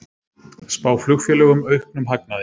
Spá flugfélögum auknum hagnaði